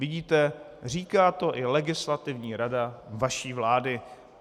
Vidíte, říká to i Legislativní rada vaší vlády.